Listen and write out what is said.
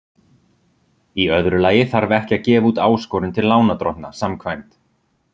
Í öðru lagi þarf ekki að gefa út áskorun til lánardrottna samkvæmt